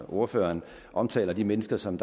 ordføreren omtaler de mennesker som